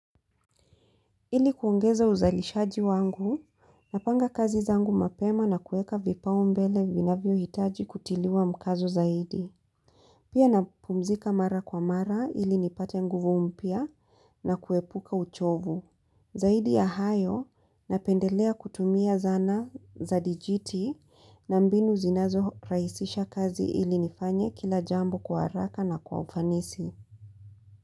Ili kuongeza uzalishaji wangu, napanga kazi zangu mapema na kueka vipaumbele vinavyohitaji kutiliwa mkazo zaidi. Pia napumzika mara kwa mara ili nipate nguvu mpya na kuepuka uchovu. Zaidi ya hayo, napendelea kutumia zana za dijiti na mbinu zinazorahisisha kazi ili nifanye kila jambo kwa haraka na kwa ufanisi.